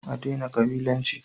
A daina kabilanci!